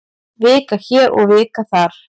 Vika hér og vika þar.